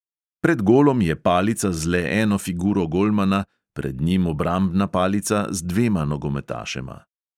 Pred golom je palica z le eno figuro golmana, pred njim obrambna palica z dvema nogometašema.